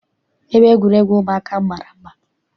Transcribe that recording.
Ebe egwuregwu ụmụaka ahụ mara mma.